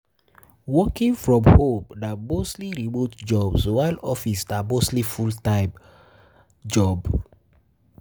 Working from home na mostly remote job while office na mostly full time mostly full time job